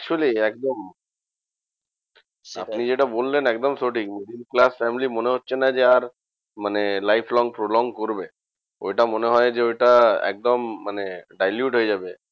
Actually একদম আপনি যেটা বললেন একদম সঠিক class family মনে হচ্ছে না যে আর life long prolong করবে। ঐটা মনে হয় যে ঐটা একদম মানে dilute হয়ে যাবে।